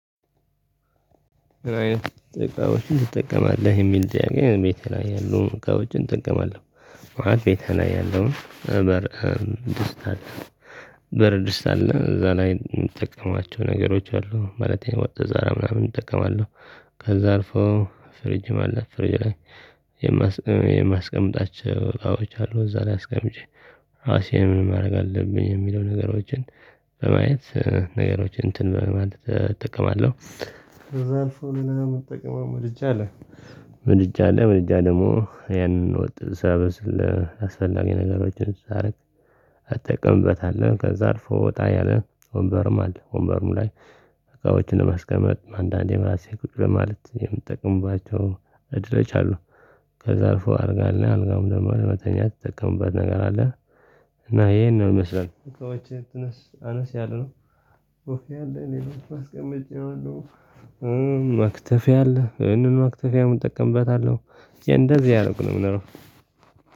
እቃዎችን ትጠቀማለህ የሚል ጥያቄ ቤት ያሉ እቃዎችን እጠቀማለሁ። ቤቴ ላይ ያለውን በር ድስት አለ። በር ድስት አለ እዛ ላይ የምጠቀማቸው ነገሮች አሉ ማለቴ ወጥ ዛሬ ምናምን እጠቀማለሁ። ከዛ አልፎ ፍርጅም አለ ፍርጅም የማስቀምጣቸው እቃዎች አሉ። እዛ ላይ አስቀምጬ ራሴን ማድረግ አለብኝ የሚለው ነገሮችን በማየት ነገሮችን እንትን በማድረግ እጠቀማለሁ። አልፎ ምን እንጠቅመው ምድጃ አለ። ምድጃ አለ ምድጃ ደግሞ ያንን ወጥ ሳበስል ለአስፈላጊ ነገሮችን አረግ እጠቀምበታለሁ። ከዛ አልፎ ወጣ ያለ ወንበርም አለ። ወንበርም ላይ እቃዎችን ለማስቀመጥ አንዳንዴ ማለት ራሴ ቁጭ ለማለት የምትጠቅምባቸው። ከዛ አልፎ አልጋ አለ አልጋውም ደግሞ ለመተኛት እምጠቀምበት ነገር አለ። እና ይሄን ነው ይመስላል እቃዎች አነስ ያለነው። ብፌ አለ እኔ አስቀምጬዋለሁ። መክተፊያ አለ ይሄንን መክተፊያ እጠቀምበታለሁ። እንደዚህ አይነት ነው።